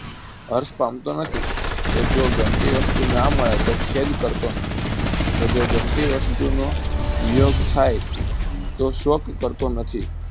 હર્ષ પામતો નથી કે જો ગમતી વસ્તુ ના મળે તો ખેદ કરતો નથી કે જો ગમતી વસ્તુનો વિયોગ થાય તો શોક કરતો નથી